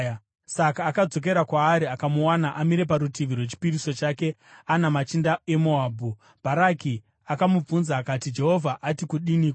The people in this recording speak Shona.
Saka akadzokera kwaari akamuwana amire parutivi rwechipiriso chake, ana machinda eMoabhu. Bharaki akamubvunza akati, “Jehovha ati kudiniko?”